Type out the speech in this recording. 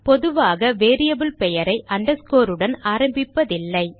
பொதுவாக வேரியபிள் பெயரை underscoreஉடன் ஆரம்பிப்பதில்லை